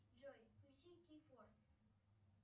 джой включи кей форс